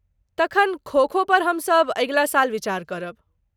तखन, खो खो पर हमसब अगिला साल विचार करब।